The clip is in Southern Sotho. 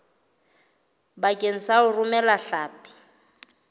bakeng sa ho romela hlapi